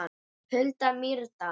Hulda Mýrdal.